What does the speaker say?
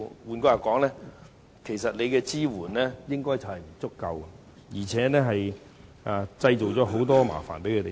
換句話說，其實當局的支援並不足夠，而且為營辦商製造了很多麻煩。